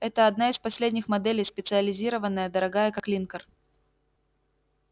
это одна из последних моделей специализированная дорогая как линкор